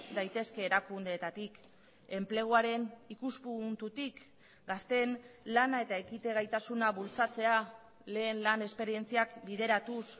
daitezke erakundeetatik enpleguaren ikuspuntutik gazteen lana eta ekite gaitasuna bultzatzea lehen lan esperientziak bideratuz